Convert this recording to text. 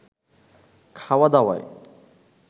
খাওয়া দাওয়ায়